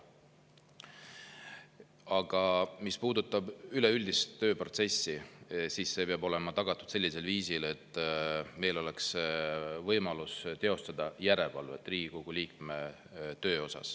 Aga mis puudutab üleüldist tööprotsessi, siis see peab olema tagatud sellisel viisil, et meil oleks võimalus teostada järelevalvet Riigikogu liikme töö üle.